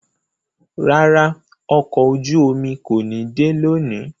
Rárá, ọkọ ojú-omi ko ni de loni